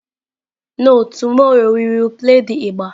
No, tomorrow we will play the igba.